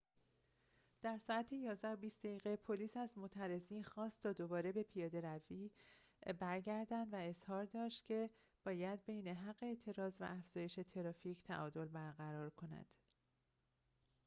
در ساعت ۱۱:۲۰ پلیس از معترضین خواست تا دوباره به پیاده‌رو برگردند و اظهار داشت که باید ببین حق اعتراض و افزایش ترافیک تعادل برقرار کند